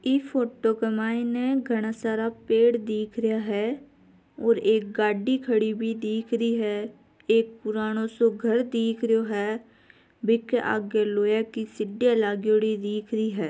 इन photo के माय में घाना सारा पेड़ दिख रहिया है और एक गाडी भी खड़ी हुयी दिख रही है एक पुरानो घर दिख हरियो है बिक आगे की लोहे की सीडिया लागेडी दिख रही है।